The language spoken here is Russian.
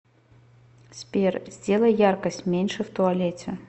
сбер сделай яркость меньше в туалете